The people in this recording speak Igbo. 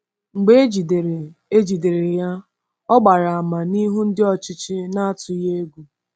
Mgbe e jidere e jidere ya, ọ gbara àmà n’ihu ndị ọchịchị n’atụghị egwu.